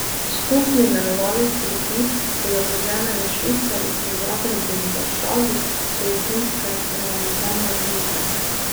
Skupni imenovalec skrbi za zadolžene v švicarjih v Zagrebu in Varšavi so jesenske parlamentarne volitve.